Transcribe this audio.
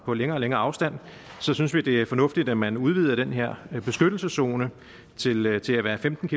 på længere og længere afstand så synes vi det er fornuftigt at man udvider den her beskyttelseszone til at til at være femten